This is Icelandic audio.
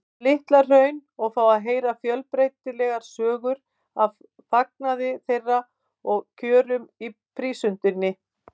Litla-Hrauni og fá að heyra fjölbreytilegar sögur af farnaði þeirra og kjörum í prísundinni.